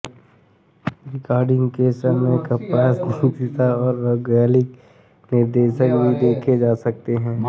recording के समय की कम्पास दिशा और भौगोलिक निर्देशांक भी देखे जा सकते हैं